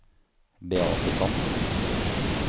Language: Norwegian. Beathe Sand